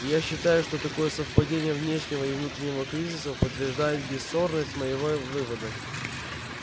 и я считаю что такое совпадение внешнего и внутреннего кризисов подтверждает бесспорность моего вывода